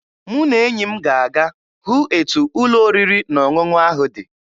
Mụ na enyi m ga-aga hụ etu ụlọ oriri na ọṅụṅụ ahụ dị.